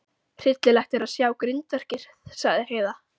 Hryllilegt er að sjá grindverkið, sagði Heiða.